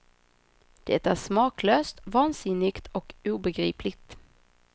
Det är smaklöst, vansinnigt och obegripligt.